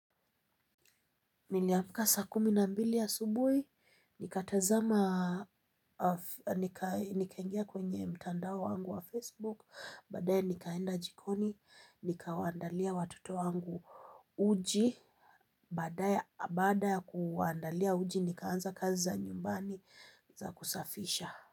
Niliamka saa kumi na mbili asubuhi, nikatazama, nikaingia kwenye mtandao wangu wa Facebook, baade nikaenda jikoni, nikawandalia watoto wangu uji, baadae baada ya kuwandalia uji nikaanza kazi za nyumbani za kusafisha.